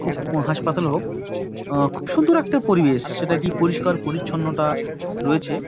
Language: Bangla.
খুব হাসপাতাল হোক অ্যা খুব সুন্দর একটা পরিবেশ সেটা খুব পরিষ্কার পরিচ্ছন্নতা রয়েছে ।